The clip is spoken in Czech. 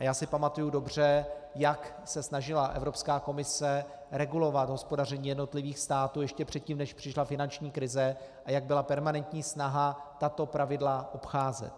A já si pamatuji dobře, jak se snažila Evropská komise regulovat hospodaření jednotlivých států ještě předtím než přišla finanční krize, a jak byla permanentní snaha tato pravidla obcházet.